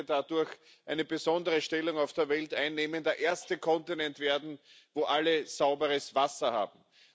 Europa würde dadurch eine besondere Stellung auf der Welt einnehmen, der erste Kontinent werden, wo alle sauberes Wasser haben.